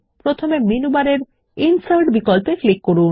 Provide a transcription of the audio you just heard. প্রথমে মেনু বারের ইনসার্ট বিকল্পে ক্লিক করুন